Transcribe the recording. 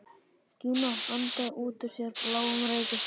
Gína andaði út úr sér bláum reyk og stundi.